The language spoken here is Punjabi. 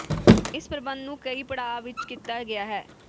ਇਸ ਪ੍ਰਬੰਧ ਨੂੰ ਕਈ ਪੜਾਅ ਵਿਚ ਕੀਤਾ ਗਿਆ ਹੈ